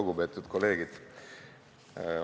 Lugupeetud kolleegid!